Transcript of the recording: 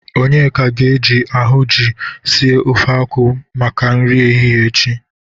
Onyeka ga-eje ahụnjị sie ofe akwụ maka nri ehihe echi.